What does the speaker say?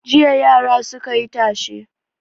Jiya yara suka yi tashe.